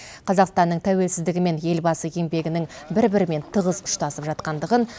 қазақстанның тәуелсіздігі мен елбасы еңбегінің бір бірімен тығыз ұштасып жатқандығын